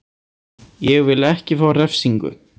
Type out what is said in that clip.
Ég vil ekki fá refsingu.